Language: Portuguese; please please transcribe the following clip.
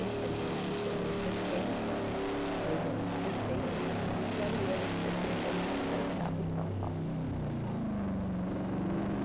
setenta e um eu me formei em setenta, em dezembro de setenta e em janeiro de setenta e um já estava em São Paulo e.